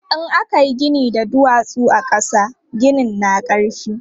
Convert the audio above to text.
In aka yi gini da duwatsu a ƙasa, ginin na ƙarfi.